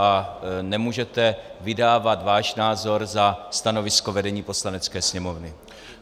A nemůžete vydávat váš názor za stanovisko vedení Poslanecké sněmovny.